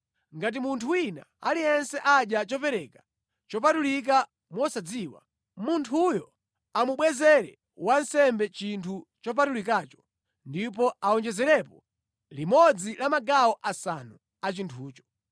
“ ‘Ngati munthu wina aliyense adya chopereka chopatulika mosadziwa, munthuyo amubwezere wansembe chinthu chopatulikacho ndipo awonjezerepo limodzi la magawo asanu a chinthucho.